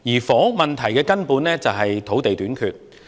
房屋問題的根源是土地短缺。